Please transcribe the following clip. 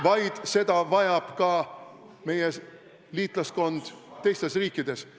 ... vaid seda vajab ka meie liitlaskond teistes riikides.